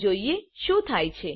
ચાલો જોઈએ શું થાય છે